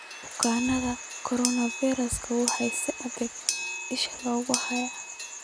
Bukaannada Coronavirus waxaa si adag isha loogu hayaa.